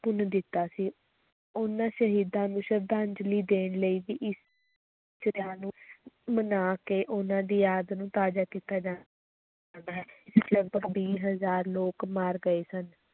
ਭੁੰਨ ਦਿੱਤਾ ਸੀ, ਉਨ੍ਹਾਂ ਸ਼ਹੀਦਾਂ ਨੂੰ ਸ਼ਰਧਾਂਜਲੀ ਦੇਣ ਲਈ ਵੀ ਇਸ ਨੂੰ ਮਨਾ ਕੇ ਉਹਨਾਂ ਦੀ ਯਾਦ ਨੂੰ ਤਾਜ਼ਾ ਕੀਤਾ ਜਾ ਲਗਪਗ ਵੀਹ ਹਜ਼ਾਰ ਲੋਕ ਮਰ ਗਏ ਸਨ।